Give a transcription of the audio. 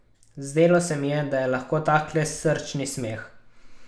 Zdelo se mi je, da je lahko tak le srčni smeh.